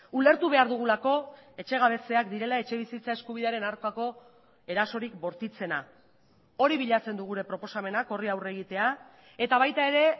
ulertu behar dugulako etxegabetzeak direla etxebizitza eskubidearen aurkako erasorik bortitzena hori bilatzen du gure proposamenak horri aurre egitea eta baita ere